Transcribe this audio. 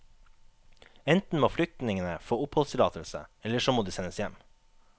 Enten må flyktningene få oppholdstillatelse, eller så må de sendes hjem.